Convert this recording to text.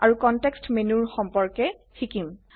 আৰু context menu সম্পৰ্কে শিকিম